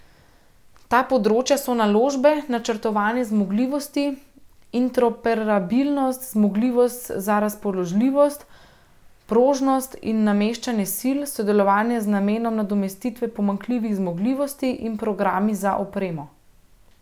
Ta področja so naložbe, načrtovanje zmogljivosti, interoperabilnost, zmogljivosti za razpoložljivost, prožnost in nameščanje sil, sodelovanje z namenom nadomestitve pomanjkljivih zmogljivosti in programi za opremo.